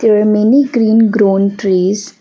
there many green grown trees.